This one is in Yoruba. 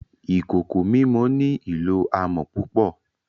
Ìkòkò mímọ̀ ní ilọ̀ àmọ̀ púpọ̀